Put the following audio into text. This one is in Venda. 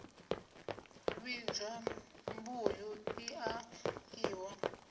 vhidzwa mbuyu i a ḽiwa